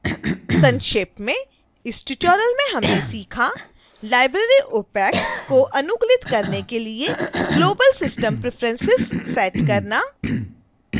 संक्षेप में